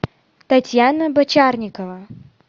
татьяна бочарникова